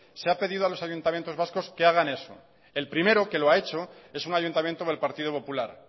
se ha pedido a los ayuntamientos vascos que hagan eso el primero que lo ha hecho es un ayuntamiento del partido popular